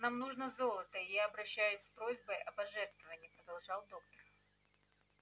нам нужно золото и я обращаюсь с просьбой о пожертвовании продолжал доктор